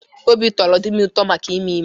Obi tọrọ di m ụtọ maka ime ime.